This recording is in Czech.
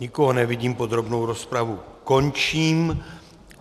Nikoho nevidím, podrobnou rozpravu končím.